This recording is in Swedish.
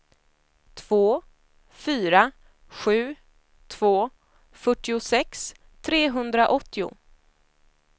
två fyra sju två fyrtiosex trehundraåttio